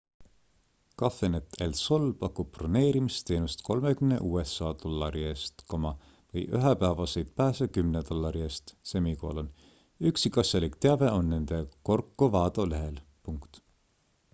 cafenet el sol pakub broneerimisteenust 30 usa dollari eest või ühepäevaseid pääse 10 dollari eest üksikasjalik teave on nende corcovado lehel